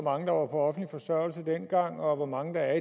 mange der var på offentlig forsørgelse dengang og hvor mange der er